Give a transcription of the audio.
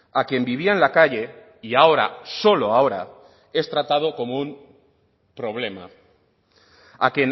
a quien vivía en la calle y ahora solo ahora es tratado como un problema a